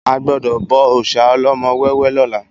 A gbọdọ̀ bọ òòsà ọlọ́mọ wẹ́wẹ́ lọ́la